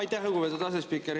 Aitäh, lugupeetud asespiiker!